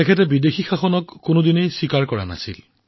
তেওঁ কেতিয়াও বিদেশী শাসন মানি লোৱা নাছিল